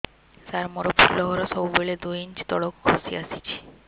ସାର ମୋର ଫୁଲ ଘର ସବୁ ବେଳେ ଦୁଇ ଇଞ୍ଚ ତଳକୁ ଖସି ଆସିଛି